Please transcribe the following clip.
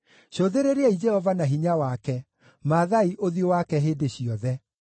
Cũthĩrĩriai Jehova na hinya wake; mathaai ũthiũ wake hĩndĩ ciothe.